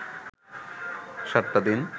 সাতটা দিন